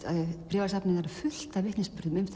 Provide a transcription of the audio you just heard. bréfasafnið er fullt af vitnisburðum um